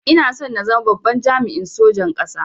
Ina son zama babban jami'in sojan ƙasa